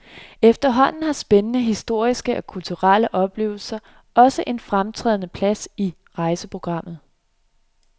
Efterhånden har spændende historiske og kulturelle oplevelser også en fremtrædende plads i rejseprogrammet.